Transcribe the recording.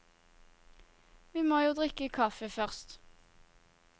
Vi må jo drikke kaffe først.